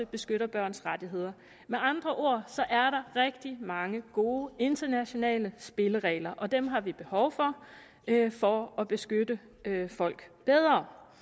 beskytter børns rettigheder med andre ord er der rigtig mange gode internationale spilleregler og dem har vi behov for for at beskytte folk bedre